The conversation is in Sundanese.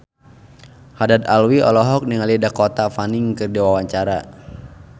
Haddad Alwi olohok ningali Dakota Fanning keur diwawancara